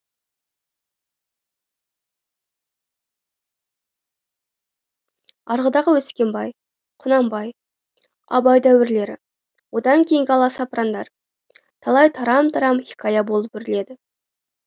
арғыдағы өскенбай құнанбай абай дәуірлері одан кейінгі аласапырандар талай тарам тарам хикая болып өріледі